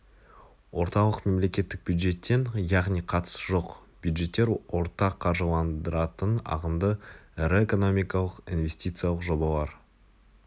орталық мемлекеттік бюджеттен яғни қатысы жоқ бюджеттер ортақ қаржыландырылатын ағымдағы ірі экономикалық инвестициялық жобалар